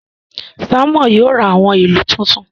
Simon yóò rá awọn ìlú tuntun